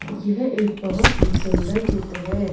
यह एक बहोत ही सुन्दर चित्र है।